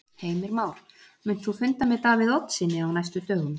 Heimir Már: Munt þú funda með Davíð Oddssyni á næstu dögum?